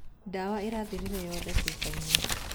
Ndawa ĩrathirire yothe cũbainĩ